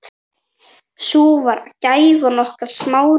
Sú var gæfan okkar Smára.